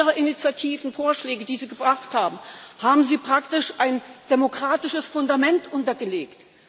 Keiner Ihrer Initiativen und Vorschläge, die Sie gebracht haben, haben Sie praktisch ein demokratisches Fundament untergelegt.